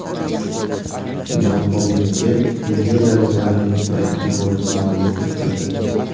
Jon Obi Mikel nigeriyaliklarning birinchi goliga mualliflik qildi.